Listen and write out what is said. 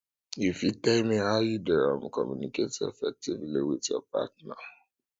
you fit tell me how you dey um communicate effectively um with your partner